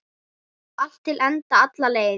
Allt til enda, alla leið.